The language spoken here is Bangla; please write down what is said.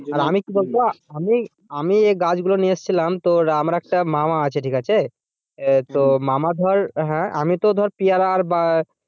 আর আমি কি বলতো আমি আমি এই গাছগুলো নিয়েছিলাম তো আমার একটা মামা আছে ঠিক আছে। তো মামা ধর হ্যাঁ আমি তো ধর পিয়ারা বা,